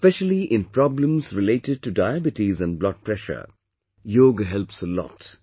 Especially in problems related to diabetes and blood pressure, yoga helps a lot